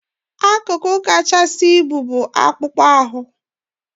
Akụkụ ahụ kachasị ibu bụ akpụkpọ ahụ.